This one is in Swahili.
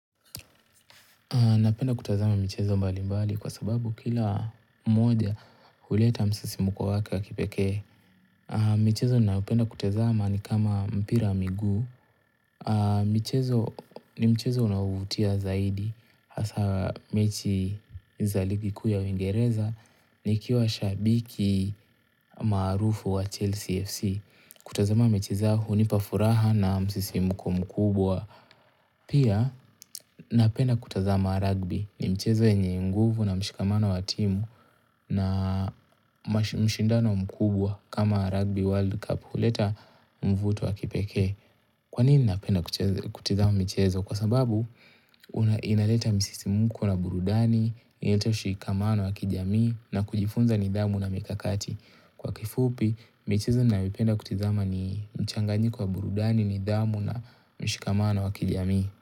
Napenda kutazama michezo mbalimbali kwa sababu kila mmoja huleta msisimko wake wa kipekee. Michezo nayopenda kutazama ni kama mpira wa miguu. Mchezo ni mchezo unaovutia zaidi hasa mechi za ligi kuu ya uingereza. Nikiwa shabiki maarufu wa Chelsea FC. Kutazama mchezo hunipa furaha na msisimko mkubwa. Pia napenda kutazama rugby ni mchezo yenye nguvu na mshikamano wa timu na mshindano mkubwa kama rugby world cup huleta mvuto wa kipekee Kwa nini napenda kutizama michezo? Kwa sababu, inaleta msisimko na burudani, inaleta mshikamano wa kijamii na kujifunza nidhamu na mikakati Kwa kifupi, michezo nayoipenda kutizama ni mchanganiko wa burudani, nidhamu na mshikamano wa kijami.